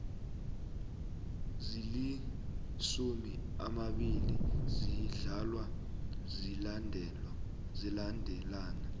zilisumu amabili ziyadlalwa zilandelana